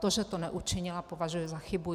To, že to neučinila, považuji za chybu.